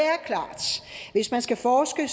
hvis man skal forske